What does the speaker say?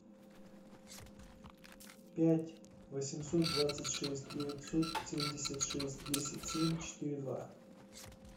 пять восемьсот двадцать шесть девятьсот семьдесят шесть десять семь четыре два